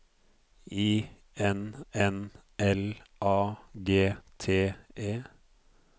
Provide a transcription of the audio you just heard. I N N L A G T E